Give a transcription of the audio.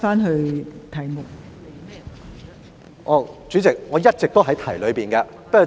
代理主席，我一直都在議題範圍內。